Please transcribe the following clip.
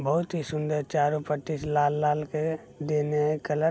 बहुत ही सुंदर चारो पट्टी से लाल-लाल के देले हई कलर --